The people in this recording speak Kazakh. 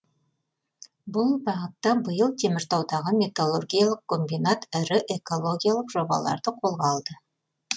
бұл бағытта биыл теміртаудағы металлургиялық комбинат ірі экологиялық жобаларды қолға алды